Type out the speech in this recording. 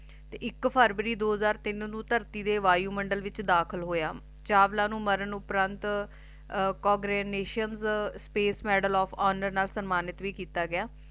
ਤੇ ਇਕ ਫਰਵਰੀ ਦੋ ਹਜ਼ਾਰ ਤੀਨ ਨੂੰ ਧਰਤੀ ਦੇ ਵਾਯੂਮੰਡਲ ਵਿੱਚ ਦਾਖਲ ਹੋਇਆ ਚਾਵਲਾ ਨੂੰ ਮਾਰਨ ਉਪਰੰਤ congressional National Space Medal Of Honour ਨਾਲ ਸਨਮਾਨਿਤ ਵੀ ਕੀਤਾ ਗਿਆ